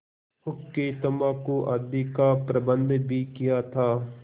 हुक्केतम्बाकू आदि का प्रबन्ध भी किया था